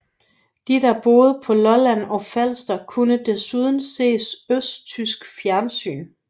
De der boede på Lolland og Falster kunne desuden se østtysk fjernsyn